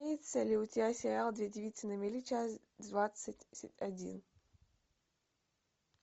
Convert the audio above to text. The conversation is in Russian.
имеется ли у тебя сериал две девицы на мели часть двадцать один